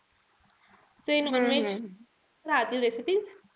ते non-veg राहतील recipes.